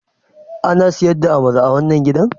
Ana sayar da amala a wannan gidan?